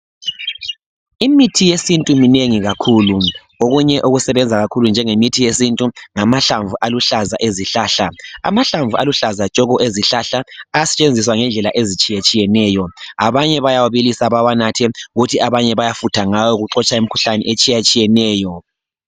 Imithi yesintu minengi kakhulu okunye okusebenza kakhulu njengemithi yesintu ngamahlamvu aluhlaza ezihlahla. Amahlamvu aluhlaza tshoko ezihlaha ayasetshenziswa ngendlela ezitshiyetshiyeneyo abanye bayawabilisa bawanathe kuthi abanye bayafutha ngawo kuxotsha imikhuhlane etshiyatshiyeneyo.